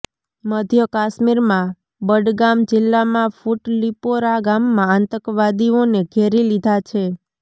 મધ્ય કશ્મીરમાં બડગામ જીલ્લામાં ફુટલિપોરા ગામમાં આતંકવાદીઓને ઘેરી લીધા છે